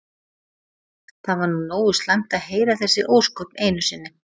Það var nú nógu slæmt að heyra þessi ósköp einu sinni.